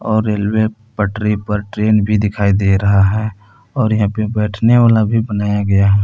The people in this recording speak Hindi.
और रेलवे पटरी पर ट्रेन भी दिखाई दे रहा है और यहां पे बैठने वाला भी बनाया गया है।